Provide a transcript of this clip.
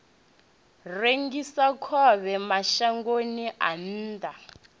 rengisa khovhe mashangoni a nnḓa